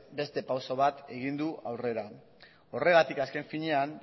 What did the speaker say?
beste pauso bat egin du aurrera horregatik azken finean